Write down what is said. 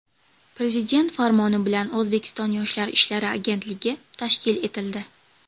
Prezident farmoni bilan O‘zbekiston Yoshlar ishlari agentligi tashkil etildi.